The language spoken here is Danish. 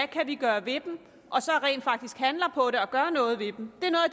kan gøre ved dem og så rent faktisk handler på det og gør noget ved dem